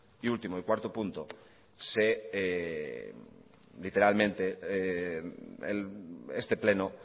y último y cuarto punto se literalmente este pleno